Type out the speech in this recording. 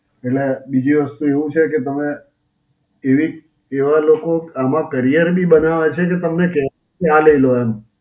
એટલે બીજી વસ્તુ એવું છે કે તમે એવી એવા લોકો આમાં career બી બનાવે છે કે તમને કહેવું, ને આ લઈ લો એમ.